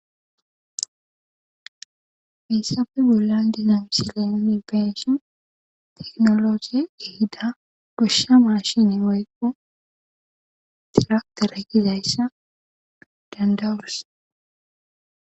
Peyssafe bolla dinamisile nipeshin teknologe ehida goshsha maashini oykqo diraktera kizayssa dandawurus